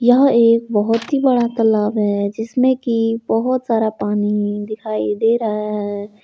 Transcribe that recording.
यह एक बहोत ही बड़ा तालाब है जिसमें की बहोत सारा पानी दिखाई दे रहा है।